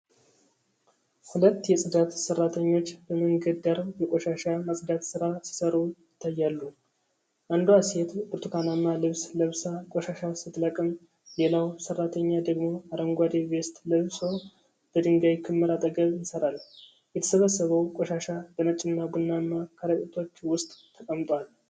ሁለት የፅዳት ሠራተኞች በመንገድ ዳር የቆሻሻ ማጽዳት ሥራ ሲሠሩ ይታያሉ። አንዷ ሴት ብርቱካናማ ልብስ ለብሳ ቆሻሻ ስትለቅም፣ ሌላው ሰራተኛ ደግሞ አረንጓዴ ቬስት ለብሶ በድንጋይ ክምር አጠገብ ይሠራል። የተሰበሰበው ቆሻሻ በነጭና ቡናማ ከረጢቶች ውስጥ ተቀምጧል።